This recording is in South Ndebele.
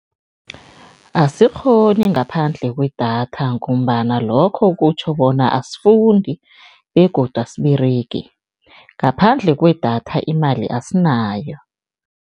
Asikghoni ngaphandle kwedatha ngombana lokho kutjho bona asifundi begodu asiberegi. Ngaphandle kwedatha imali asinayo.